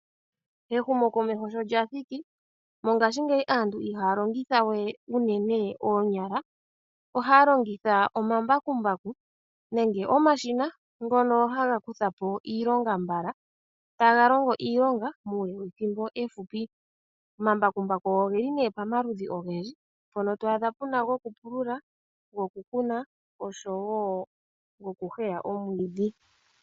Ehumo komesho sho lyathiki mongashingeyi aantu ohiya longitha we uunene oonyala, ohaya longitha omambakumbaku nenge omashina ngoka haga kuthapo iilonga mbala, taga longo iilonga muule wethimbo efupi. Omambakumbaku ogeli nee pamaludhi ogendji, mpono twaadha puna gokupulula, goku kuna osho wo goku huya omwiidhi.